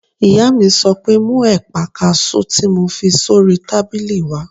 Ìyá mi sọ pé "mú ẹ̀pà kaasú tí mo fi sórí tábìlì wá!"